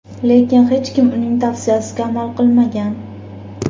Lekin hech kim uning tavsiyasiga amal qilmagan.